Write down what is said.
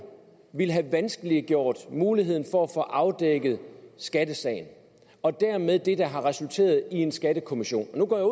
ville have vanskeliggjort muligheden for at få afdækket skattesagen og dermed det der har resulteret i en skattekommission nu går jeg